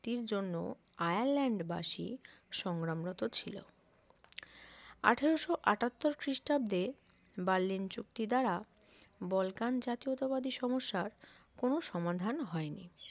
মুক্তির জন্য আয়ারল্যান্ড বাসি সংগ্রামরত ছিল আঠারোশো আটাত্তর খ্রিস্টাব্দে বার্লিন চুক্তি দ্বারা বলকান জাতীয়তাবাদী সমস্যার কোন সমাধান হয় নি